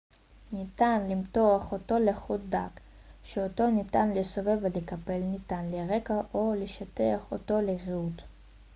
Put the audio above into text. ניתן למתוח אותו לחוט דק שאותו ניתן לסובב ולקפל ניתן לרקע או לשטח אותו ליריעות